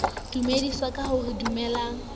dumedise ka ho re dumelang